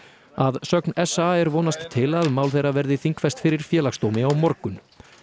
að sögn s a er vonast til að mál þeirra verði þingfest fyrir Félagsdómi á morgun